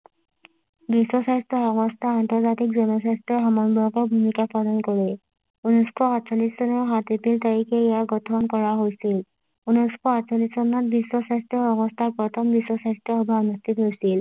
বিশ্ব স্বাস্থ্য সংস্থা আন্তৰ্জাতিক জন স্বাস্থ্যৰ সমানয়কে ভূমিকা পালন কৰে ঊনৈশ সাতচল্লিশ চনৰ সাত এপ্ৰিল তাৰিখে ইয়াক গঠন কৰা হৈছিল ঊনৈশ আঠচল্লিশ চনত বিশ্ব স্বাস্থ্য সংস্থা প্ৰথম বিশ্ব স্বাস্থ্য সভা অনুষ্ঠিত কৰিছিল